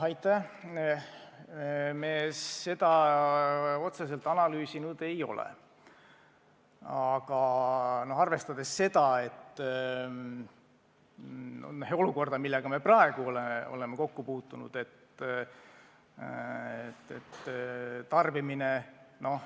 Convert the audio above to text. Me seda otseselt analüüsinud ei ole, aga praegune olukord on enam-vähem teada.